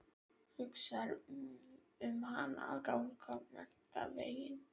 Hugsar um hana að ganga menntaveginn.